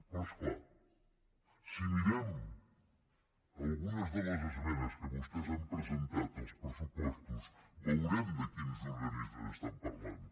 però és clar si mirem algunes de les esmenes que vostès han presentat als pressupostos veurem de quins organismes estan parlant